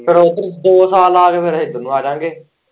ਫੇਰ ਉੱਧਰ ਦੋ ਸਾਲ ਲਾ ਕੇ ਫੇਰ ਇੱਧਰ ਨੂੰ ਆਜਾ ਗੇ।